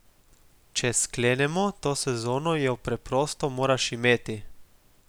Če sklenemo, to sezono jo preprosto moraš imeti!